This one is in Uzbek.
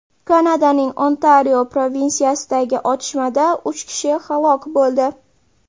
Kanadaning Ontario provinsiyasidagi otishmada uch kishi halok bo‘ldi.